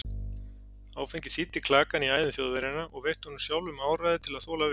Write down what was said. Áfengið þíddi klakann í æðum Þjóðverjanna og veitti honum sjálfum áræði til að þola við.